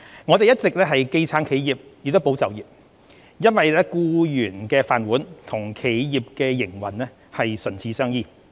我們一直既撐企業，也保就業，因為僱員的"飯碗"與企業營運唇齒相依。